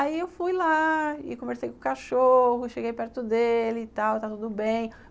Aí eu fui lá e conversei com o cachorro, cheguei perto dele e tal, está tudo bem.